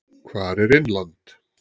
Hvar er Innland?